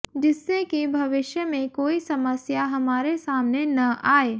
जिससे कि भविष्य में कोई समस्या हमारे सामने न आए